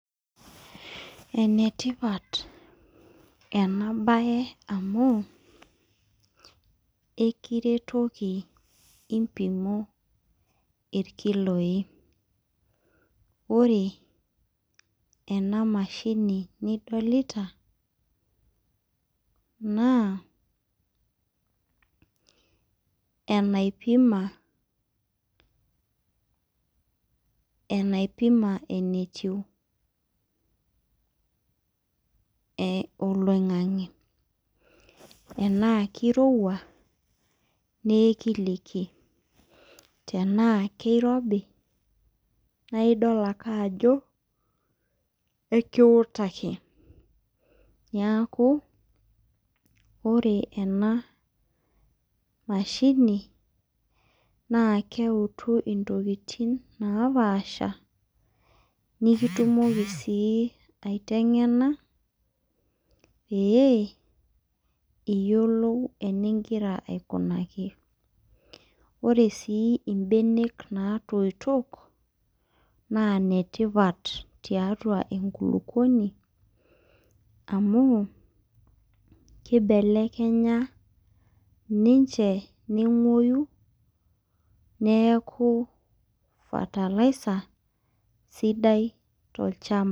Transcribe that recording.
Enetipata enabaye amu ekiretoki impimo irkiloi ore ena mashini nidlita naa enaipima enetiu oloing'ang'e enaa kirowua naa kiliki tenaa kirobi naa idol ake ajo ekiutaki neeku ore ena masahini naa keutu ntokitin naapaasha niktumoki sii aiteng'ena pee iyiolou enigira aikunaki ore sii mbenek naatoito naa inetipat tiatu enkulukuoni amu kubelekenya siinche nenguoyu nee fertilizer sidai tolchamba.